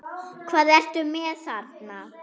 Hvað ertu með þarna?